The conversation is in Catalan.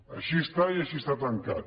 així està i així està tancat